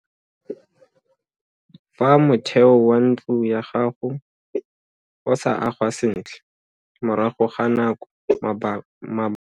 Fa motheo wa ntlo ya gago o sa agwa sentle morago ga nako mabota a tlaa sugakana.